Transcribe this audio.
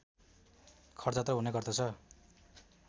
खटजात्रा हुने गर्दछ